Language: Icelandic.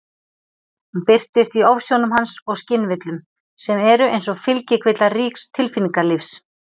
Hún birtist í ofsjónum hans og skynvillum, sem eru eins og fylgikvillar ríks tilfinningalífs.